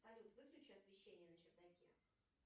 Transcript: салют выключи освещение на чердаке